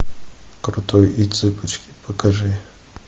крутой и цыпочки покажи